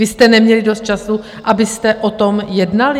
Vy jste neměli dost času, abyste o tom jednali?